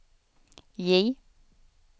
J